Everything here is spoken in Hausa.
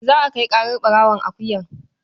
Za a kai ƙarar ɓarawon akuyar.